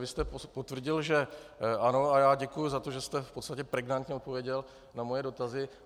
Vy jste potvrdil, že ano, a já děkuji za to, že jste v podstatě pregnantně odpověděl na moje dotazy.